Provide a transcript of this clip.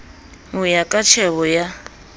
ho ya ka tjhebo ya